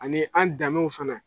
Ani an danbew fana